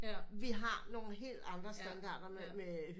Vi har nogen helt andre standarde med